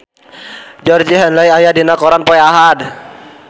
Georgie Henley aya dina koran poe Ahad